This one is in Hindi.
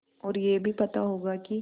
और यह भी पता होगा कि